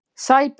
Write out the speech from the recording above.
Sæbraut